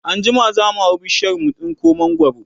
anjima zamu hau bishiyar mu tsinko mangwaro